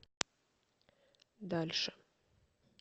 дальше